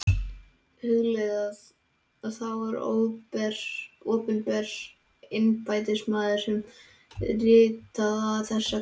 Hugleiðið að það var opinber embættismaður sem ritaði þessa grein.